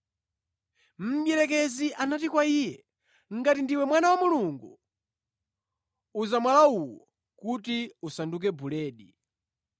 Mdierekezi anati kwa Iye, “Ngati ndiwe Mwana wa Mulungu, uza mwala uwu kuti usanduke buledi.”